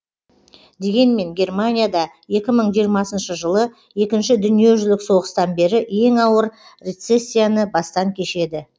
дегенмен германия да екі мың жиырмасыншы жылы екінші дүниежүзілік соғыстан бері ең ауыр рецессияны бастан кешеді